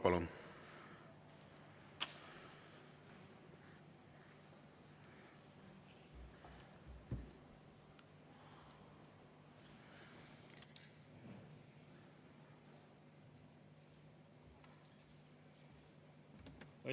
Palun!